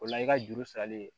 O la i ka juru sarali